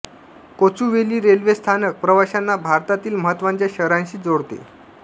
Kochuveli railway स्थानक प्रवाशांना भारतातील महत्त्वाच्या शहरांशी जोडते